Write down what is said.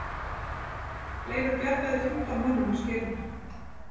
Leifur bjargaði fimmtán mönnum af skerinu.